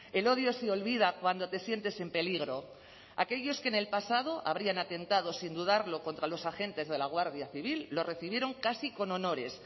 el odio se olvida cuando te sientes en peligro aquellos que en el pasado habrían atentado sin dudarlo contra los agentes de la guardia civil los recibieron casi con honores